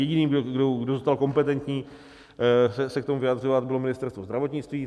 Jediný, kdo zůstal kompetentní se k tomu vyjadřovat, bylo Ministerstvo zdravotnictví.